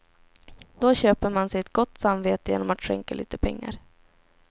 Då köper man sig ett gott samvete genom att skänka lite pengar.